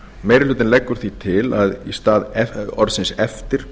meiri hlutinn leggur því til að í stað eftir